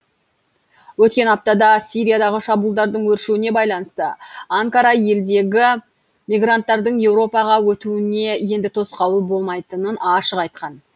өткен аптада сириядағы шабуылдардың өршуіне байланысты анкара елдегі мигранттардың еуропаға өтуіне енді тосқауыл болмайтынын ашық айтқан